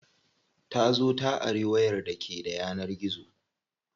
Ta zo ta ari wayar da ke da yanar gizo.